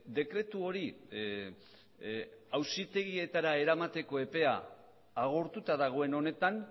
dekretu hori auzitegietara eramateko epea agortuta dagoen honetan